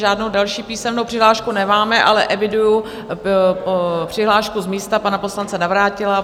Žádnou další písemnou přihlášku nemáme, ale eviduji přihlášku z místa pana poslance Navrátila.